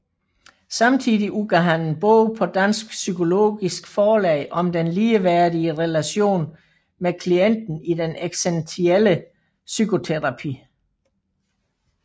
Samtidig udgav han en bog på Dansk Psykologisk Forlag om den ligeværdige relation med klienten i den eksistentielle psykoterapi